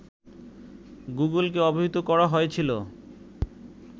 গুগলকে অবহিত করা হয়েছিল